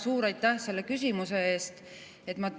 Suur aitäh selle küsimuse eest!